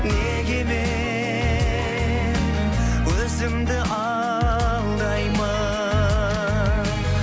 неге мен өзімді алдаймын